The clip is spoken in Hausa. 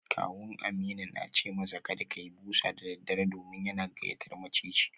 Kawun Aminu na ce masa kada ya yi busa da daddare domin yana gayyatar maciji